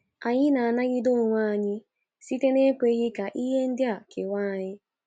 Anyị na-anagide onwe anyị site na ekweghị ka ihe ndị a kewaaa anyị